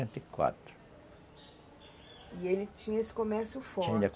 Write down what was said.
e E ele tinha esse começo for, tinha.